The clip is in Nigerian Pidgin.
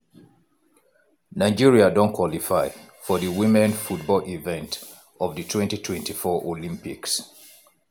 nigeria don qualify for di women football event of di 2024 olympics.